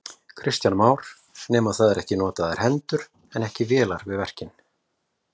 Kristján Már: Nema það eru notaðar hendur en ekki vélar við verkin?